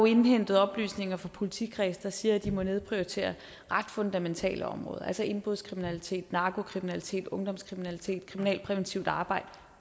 indhentet oplysninger fra politikredse der siger at de må nedprioritere ret fundamentale områder altså indbrudskriminalitet narkokriminalitet ungdomskriminalitet kriminalpræventivt arbejde og